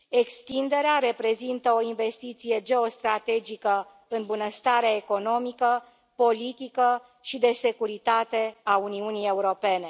Extinderea reprezintă o investiție geostrategică în bunăstarea economică, politică și de securitate a Uniunii Europene.